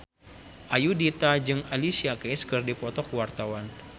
Ayudhita jeung Alicia Keys keur dipoto ku wartawan